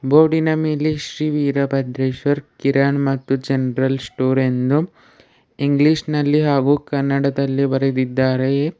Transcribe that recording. ಬೋರ್ಡಿನ ಮೇಲೆ ಶ್ರೀ ವೀರಭದ್ರೆಶ್ವರ ಕಿರಾನ ಮತ್ತು ಜನರಲ್ ಸ್ಟೋರ್ ಎಂದು ಇಂಗ್ಲಿಷ್ ನಲ್ಲಿ ಹಾಗು ಕನ್ನಡದಲ್ಲಿ ಬರೆದಿದ್ದಾರೆಯೆ.